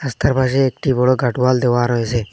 রাস্তার পাশে একটি বড় গারডোয়াল দেওয়া রয়েছে।